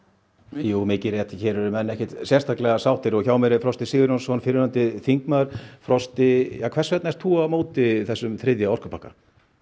jú mikið rétt hér eru menn ekkert sérstaklega sáttir og hjá mér er Frosti Sigurjónsson fyrrverandi þingmaður frosti hvers vegna ert þú á móti þessum þriðja orkupakka